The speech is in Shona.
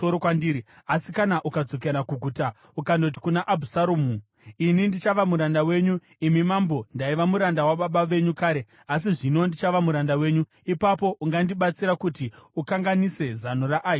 Asi kana ukadzokera kuguta ukandoti kuna Abhusaromu, ‘Ini ndichava muranda wenyu, imi mambo; ndaiva muranda wababa venyu kare, asi zvino ndichava muranda wenyu,’ ipapo ungandibatsira kuti ukanganise zano raAhitoferi.